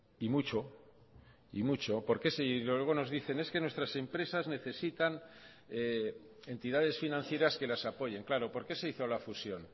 y mucho y mucho porque luego nos dicen es que nuestras empresas necesitan entidades financieras que las apoyen claro por qué se hizo la fusión